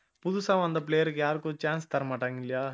புதுசா வந்த player க்கு யாருக்கும் chance தர மாட்டாங்க இல்லையா